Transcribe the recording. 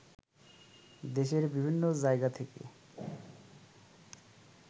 দেশের বিভিন্ন জায়গা থেকে